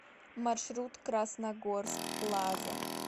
маршрут красногорск плаза